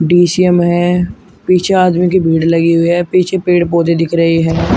पीछे आदमीयों की भीड़ लगी हुई है पीछे पेड़ पौधे दिख रहे हैं।